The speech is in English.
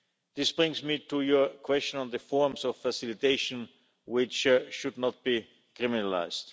This brings me to your question on the forms of facilitation which should not be criminalised.